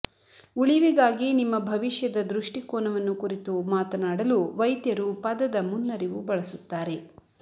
ಉಳಿವಿಗಾಗಿ ನಿಮ್ಮ ಭವಿಷ್ಯದ ದೃಷ್ಟಿಕೋನವನ್ನು ಕುರಿತು ಮಾತನಾಡಲು ವೈದ್ಯರು ಪದದ ಮುನ್ನರಿವು ಬಳಸುತ್ತಾರೆ